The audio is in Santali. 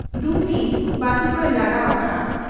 ᱰᱩᱢᱱᱤ ᱵᱟᱹᱛᱤ ᱠᱚᱭ ᱞᱟᱜᱟᱣ ᱟᱠᱟᱜ ᱟ ᱾